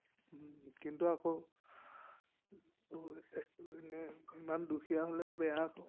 কিন্তু আকৌ এনে ইমান দুখীয়া হলেও বেয়া আকৌ।